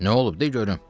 Nə olub de görüm?